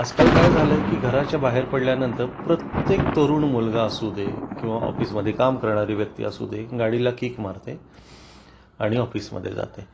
आजकाल काय झालंय की घराच्या बाहेर पडल्या नंतर प्रत्येक तरुण मुलगा असू दे किंवा ऑफिस मध्ये काम करणारी व्यक्ती असू दे गाडीला किक मारते आणि ऑफिस मध्ये जाते